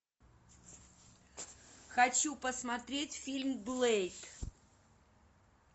хочу посмотреть фильм блэйд